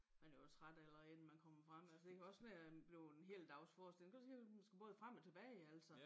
Man er jo træt allerede inden man kommer frem altså det kan også være bleven en hel dagsforestilling prøv at tænk hvis man skal både frem og tilbage altså